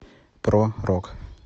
про рок